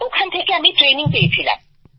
ওখান থেকে আমি ট্রেনিং পেয়েছিলাম